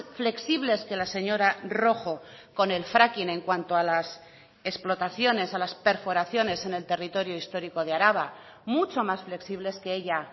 flexibles que la señora rojo con el fracking en cuanto a las explotaciones a las perforaciones en el territorio histórico de araba mucho más flexibles que ella